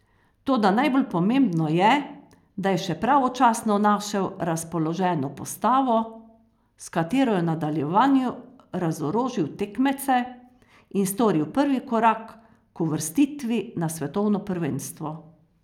Toda najbolj pomembno je, da je še pravočasno našel razpoloženo postavo, s katero je v nadaljevanju razorožil tekmece in storil prvi korak k uvrstitvi na svetovno prvenstvo.